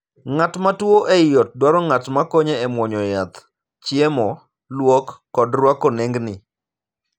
Ng'at matuo ei ot dwaro ng'at ma konye e muonyo yath, chiemo, luok, kod ruako nengni.